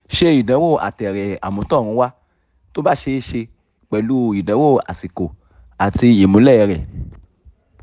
ṣe ìdánwò àtẹ̀rẹ̀ àtọ̀runwá tó bá ṣee ṣe pẹ̀lú ìdánwò àsìkò àti ìmúlẹ̀ rẹ